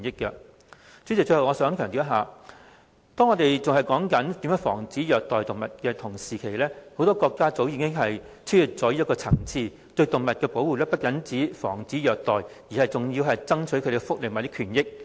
代理主席，最後，我想強調，當我們還在討論如何防止虐待動物的同時，很多國家早已超越這層次，對動物的保護不只限於防止虐待，更為動物爭取福利及權益。